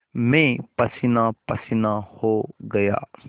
मैं पसीनापसीना हो गया